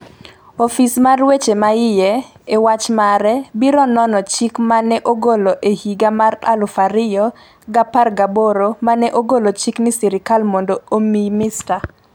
Ofis mar weche ma iye, e wach mare, biro nono chik ma ne ogolo e higa mar 2018 ma ne ogolo chik ni sirkal mondo omi Mr.